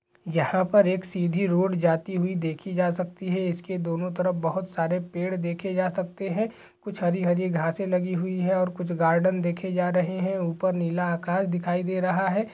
यहाँ पर एक सिधी रोड जाती हुई देखि जा सकती है इसके दोनों ओर बहुत सारे पेड़ देखे जा सकते है कुछ हरी-हरी घास लगी हुई है और कुछ गार्डन देखे जा रहे है ऊपर नीला आकाश दिखाई दे रहा--